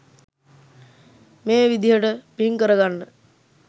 මේ විදිහට පින් කර ගන්න